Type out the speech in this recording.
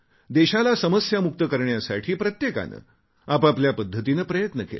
देशाला समस्यामुक्त करण्यासाठी प्रत्येकाने आपापल्या पद्धतीने प्रयत्न केले